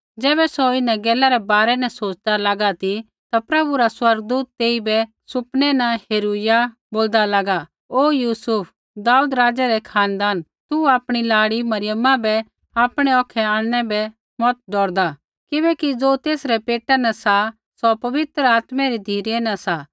ज़ैबै सौ इन्हां गैलै रै बारै न सोच़दा लागा ती ता प्रभु रा स्वर्गदूत तेइबै सुपने न हेरुइया बोलदा लागा ओ यूसुफ दाऊद राज़ै रै खानदान तू आपणी लाड़ी मरियमा बै आपणै औखै आणनै बै मत डौरदा किबैकि ज़ो तेसरै पेटा न सा सौ पवित्र आत्मै री धिरै न सा